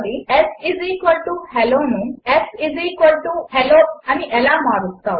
7 shello ను sHello ఎలా మారుస్తావు